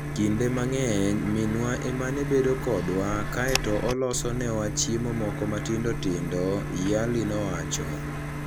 Kinde mang'eny, minwa ema ne bedo kodwa kae to oloso newa chiemo moko matindo tindo, Yarely nowacho.